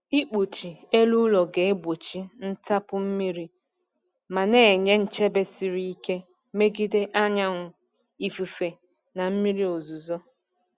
Ikpuchi elu ụlọ ga-egbochi ntapu mmiri ma na-enye nchebe siri ike megide anyanwụ, ifufe, na mmiri ozuzo.